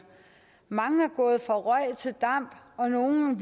mange er gået fra røg til damp og nogle